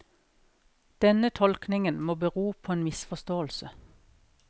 Denne tolkningen må bero på en misforståelse.